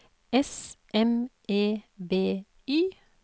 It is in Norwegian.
S M E B Y